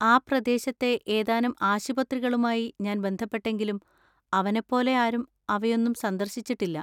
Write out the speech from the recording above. ആ പ്രദേശത്തെ ഏതാനും ആശുപത്രികളുമായി ഞാൻ ബന്ധപ്പെട്ടെങ്കിലും അവനെപ്പോലെ ആരും അവയൊന്നും സന്ദർശിച്ചിട്ടില്ല.